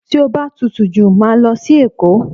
Tí o bá tutù jù, màá lọ sí Èkó.